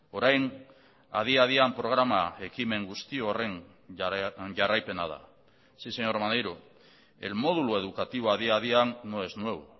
orain adi adian programa ekimen guzti horren jarraipena da sí señor maneiro el módulo educativo adi adian no es nuevo